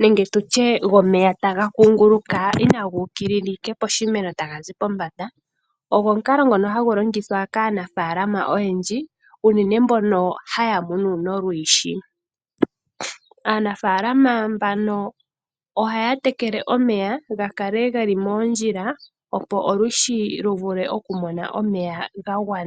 nenge tutye gwomeya taga kunguluka inaga uka ashike poshimeno taga zi pombanda. Ogwo omukalo ngoka hagu longithwa kaanafalama oyendji unene mbono haya munu nolwiishi. Aanafalama mbano ohaya tekele omeya ga kale geli moondjila opo olwiishi lu vule oku mona omeya gagwana.